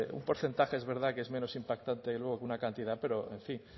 un porcentaje es verdad que es menos impactante luego que una cantidad pero en fin